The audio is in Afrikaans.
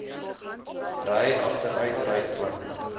ry agteruitry dwing